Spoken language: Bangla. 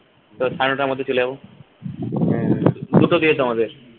তো সাড়ে নটার মধ্যে চলে যাবো দুটো থেকেতো আমাদের